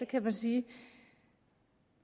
kan man sige